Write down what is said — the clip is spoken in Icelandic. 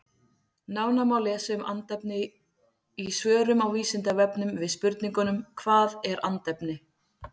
Nánar má lesa um andefni í svörum á Vísindavefnum við spurningunum Hvað er andefni?